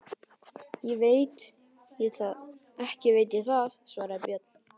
Ekki veit ég það, svaraði Björn.